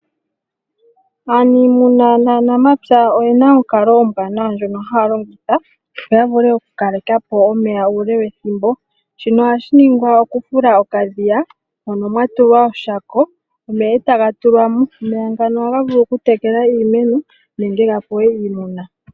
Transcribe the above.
Aanimuna naanamapya oyena onkalo ombwanawa ndyoka haya longitha noya vulu okukaleka po omeya uule wethimbo, shika ohashi ningwa okufula okadhiya moka mwatulwa oshako omeya e taga tulwa mo. Omeya ngaka ohaga vulu okutekela iimeno nenge gapewe iimuna.